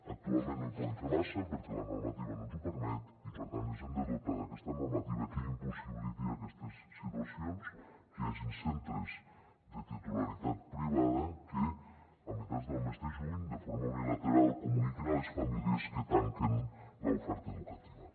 actualment no hi podem fer massa perquè la normativa no ens ho permet i per tant ens hem de dotar d’aquesta normativa que impossibiliti aquestes situacions que hi hagin centres de titularitat privada que a meitat del mes de juny de forma unilateral comuniquin a les famílies que tanquen l’oferta educativa